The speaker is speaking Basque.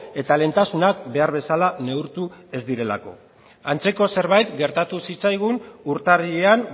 eta lehentasunak behar bezala neurtu ez direlako antzeko zerbait gertatu zitzaigun urtarrilean